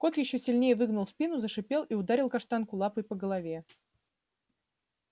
кот ещё сильнее выгнул спину зашипел и ударил каштанку лапой по голове